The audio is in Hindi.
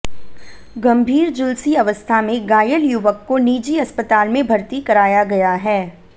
गंभीर झुलसी अवस्था में घायल युवक को निजी अस्पताल में भर्ती कराया गया है